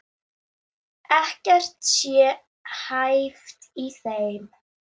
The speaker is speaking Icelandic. Ekkert sé hæft í þeim